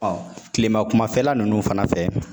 kilema kumafɛla ninnu fana fɛ